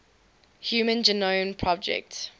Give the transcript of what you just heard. human genome project